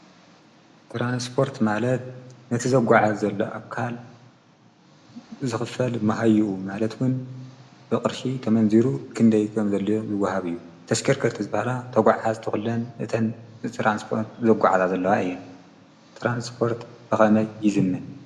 ጥራንስጶርት ማለት ነቲ ዘጐዓት ዘሎ ኣካል ዝኽፈል መሃይኡ ማለትዉን ብቕርሺ ተመንዚሩ ክንደይቶም ዘለ ዝጐሃብ እዩ ተሽከርከርቲ ዘበሃላ ተጕዕሓዝተዂለን እተን ተራንስጶርት ዘጕዓዛ ዘለዋ እየን ተራንስጶርት በኸመይ ይዝም ።